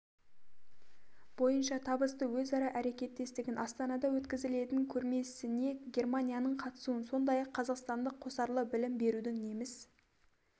бойынша табысты өзара әрекеттестігін астанада өткізілетін көрмесіне германияның қатысуын сондай-ақ қазақстанда қосарлы білім берудің неміс